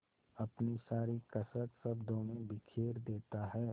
अपनी सारी कसक शब्दों में बिखेर देता है